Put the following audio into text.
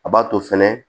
A b'a to fɛnɛ